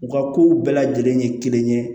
U ka kow bɛɛ lajɛlen ye kelen ye